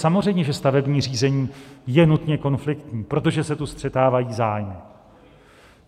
Samozřejmě že stavební řízení je nutně konfliktní, protože se tu střetávají zájmy.